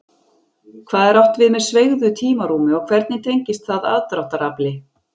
Hvað er átt við með sveigðu tímarúmi og hvernig tengist það aðdráttarafli?